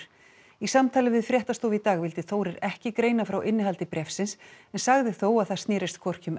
í samtali við fréttastofu í dag vildi Þórir ekki greina frá innihaldi bréfsins en sagði þó að það snerist hvorki um